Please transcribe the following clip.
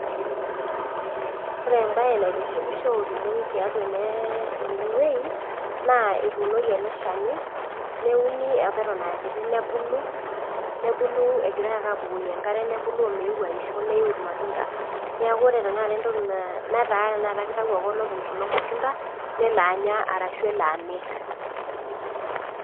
Ore ebae naitishipisho oleng tiatua enewei, naa etuunoki ele shani, neuni apa eton akiti nebulu, nebulu egirai ake abukoki enkare, nebulu omeu aisho neu irmatunda. Neeku ore tanakata entoki na netaa naa kitau ake olopeny kulo matunda, nelo anya arashu elo amir.